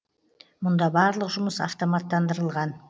мұнда барлық жұмыс автоматтандырылған